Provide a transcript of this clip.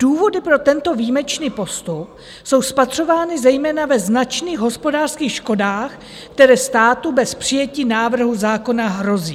"Důvody pro tento výjimečný postup jsou spatřovány zejména ve značných hospodářských škodách, které státu bez přijetí návrhu zákona hrozí."